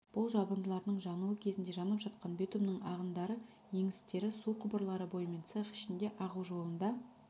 бұл жабындылардың жануы кезінде жанып жатқан битумның ағындары еңістер су құбырлары бойымен цех ішіне ағу жолында